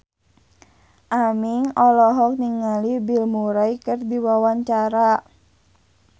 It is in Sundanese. Aming olohok ningali Bill Murray keur diwawancara